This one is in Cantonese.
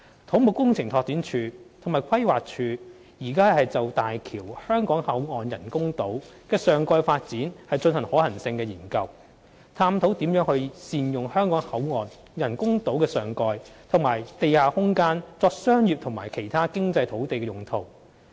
土木工程拓展署及規劃署現正就大橋香港口岸人工島的上蓋發展進行可行性研究，探討如何善用香港口岸人工島的上蓋和地下空間作商業及其他經濟土地用途。